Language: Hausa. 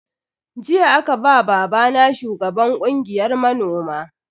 Jiya aka ba babana shugaban kungiyar manoman.